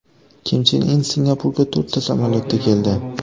Kim Chen In Singapurga to‘rtta samolyotda keldi.